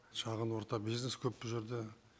шағын орта бизнес көп бұ жерде